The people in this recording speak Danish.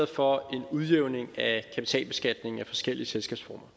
for en udjævning af kapitalbeskatningen af forskellige selskabsformer